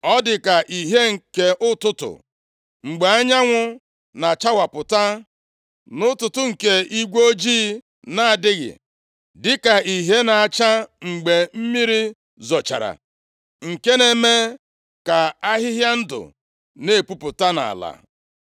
Ọ dị ka ìhè nke ụtụtụ, mgbe anyanwụ na-achawapụta nʼụtụtụ nke igwe ojii na-adịghị. Dịka ìhè na-acha mgbe mmiri zochara nke na-eme ka ahịhịa ndụ na-epupụta nʼala.’